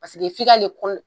Paseke f'i k'ale kol